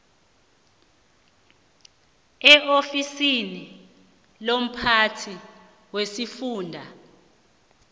eofisini lomphathi wesifunda